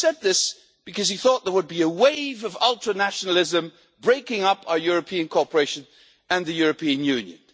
He said this because he thought there would be a wave of ultra nationalism breaking up our European cooperation and the European Union.